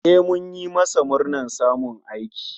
E, mun yi masa murnar samun aiki